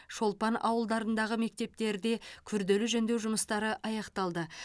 шолпан ауылдарындағы мектептерде күрделі жөндеу жұмыстары аяқталды